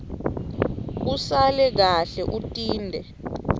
usale kahle utinte